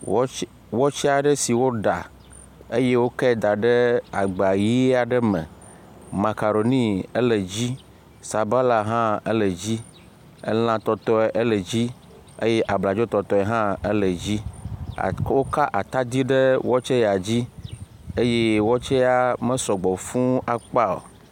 Wɔtse aɖe si woɖa eye wokɛ da ɖe agba ʋea aɖe me. Makaroni ele dzi sabala hã ele dzi, elãtɔtɔe ele dzi eye abladzotɔtɔe hã ele dzi. Woka atadzi ɖe wɔtse ya dzi eye wɔtse ya me sɔgbe fŋŋ akpa o.